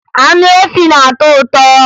Anụ efi na-atọ ụtọ